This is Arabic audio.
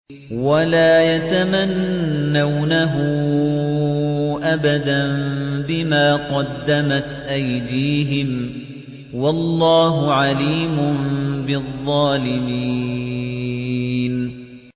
وَلَا يَتَمَنَّوْنَهُ أَبَدًا بِمَا قَدَّمَتْ أَيْدِيهِمْ ۚ وَاللَّهُ عَلِيمٌ بِالظَّالِمِينَ